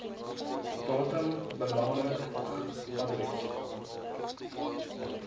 datum belangrik adres